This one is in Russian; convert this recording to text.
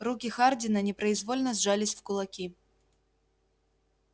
руки хардина непроизвольно сжались в кулаки